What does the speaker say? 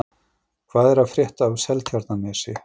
Hvað er að frétta af Seltjarnarnesi?